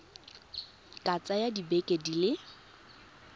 ka tsaya dibeke di le